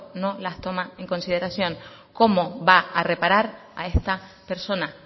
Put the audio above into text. no las toma en consideración cómo va a reparar a esta persona